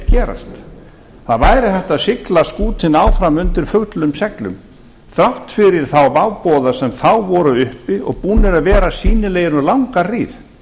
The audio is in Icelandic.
gerast það væri hægt að sigla skútunni áfram undir fullum seglum þrátt fyrir þá váboða sem þá voru uppi og búnir að vera sýnilegir um langa hríð